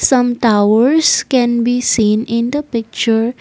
some towers can be seen in the picture.